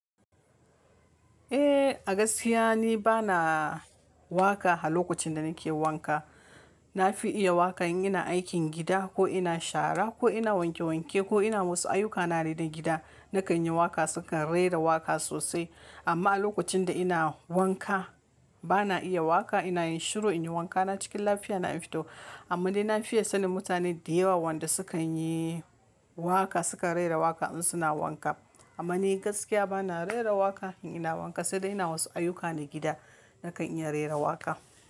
Eh, a gaskiya ni bana waka a lokacin da nake wanka. Na fi iya waka in ina aikin gida ko ina shara ko ina wanke wanke ko ina wasu ayyuka na dai na gida, nakan yi waka sukan raira waka sosai. Amma a lokacin da ina wanka bana iya waka, ina yin shiru, ina wanka na cikin lafiya na in fito. Amma dai na fiya sanin mutane da yawa wanda sukan yi waka sukan raira waka in suna wanka. Amma ni gaskiya bana raira waka in ina wanka sai dai ina wasu ayyuka na gida nakan iya raira waka.